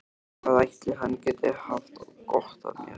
Hvað ætli hann geti haft gott af mér?